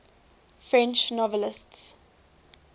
french novelists